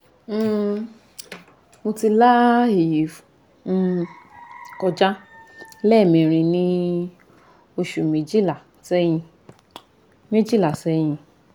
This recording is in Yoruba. um mo ti la eyi um koja lemerin ni osu mejila sehin mejila sehin